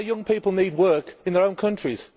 Our young people need work in their own countries.